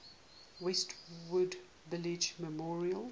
westwood village memorial